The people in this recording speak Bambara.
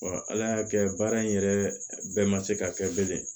ala y'a kɛ baara in yɛrɛ bɛɛ ma se ka kɛ bilen